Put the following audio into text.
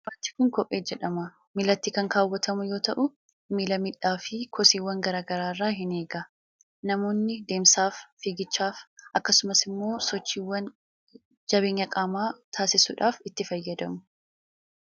Uffati kun, kophee jedhama. Miilatti kan kaawwatamu yoo ta'u, miila miidhaa fi kosiiwwan garaa garaa irraa ni eega. Namoonni deemsaaf, figichaaf, akkasumas immoo sochiiwwan jabeenya qaamaa taasisuudhaaf itti fayyadamu.